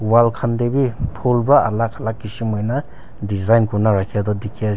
wall khan de b phool para alak alak kishim hoi na design kurina rakhe toh dikhi ase.